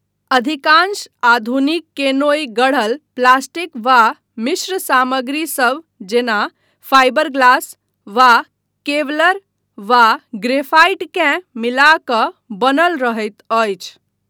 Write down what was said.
अधिकांश आधुनिक कैनोइ गढ़ल प्लास्टिक वा मिश्र सामग्री सभ जेना फाइबरग्लास वा केवलर वा ग्रेफाइट केँ मिला कऽ बनल रहैत अछि।